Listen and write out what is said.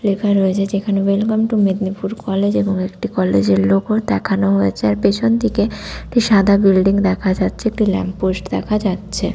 লেখা রয়েছে যেখানে ওয়েলকাম টু মেদনীপুর কলেজ এবং একটি কলেজ -এর লোক ও দেখানো হয়েছে আর পেছনদিকে একটি সাদা বিল্ডিং দেখা যাচ্ছে একটি ল্যাম্প পোস্ট দেখা যাচ্ছে।